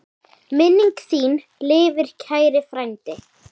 Minning þín lifir, kæri frændi.